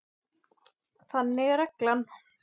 Þannig er reglan.